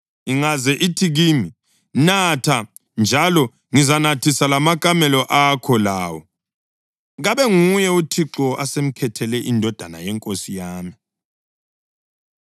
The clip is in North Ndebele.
ingaze ithi kimi, “Natha, njalo ngizanathisa lamakamela akho lawo,” kabe nguye uThixo asemkhethele indodana yenkosi yami.’